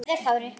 Kveðja, Kári.